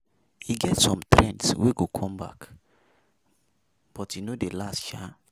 E get some trends wey go come back but e no dey last sha.